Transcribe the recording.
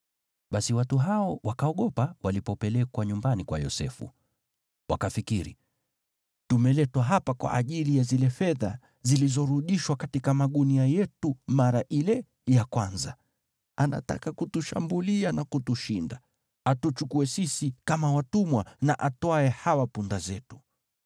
Basi watu hao wakaogopa walipopelekwa nyumbani kwa Yosefu. Wakafikiri, “Tumeletwa hapa kwa ajili ya zile fedha zilizorudishwa katika magunia yetu mara ile ya kwanza. Anataka kutushambulia na kutushinda, atuchukue sisi kama watumwa, na atwae hawa punda zetu.”